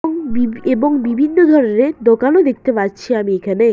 এবং বিভি এবং বিভিন্ন ধরনের দোকানও দেখতে পাচ্ছি আমি এখানে।